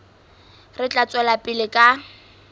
re tla tswela pele ka